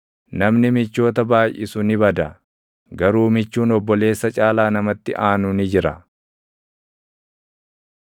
Namni michoota baayʼisu ni bada; garuu michuun obboleessa caalaa namatti aanu ni jira.